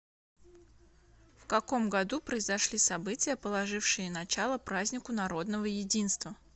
в каком году произошли события положившие начало празднику народного единства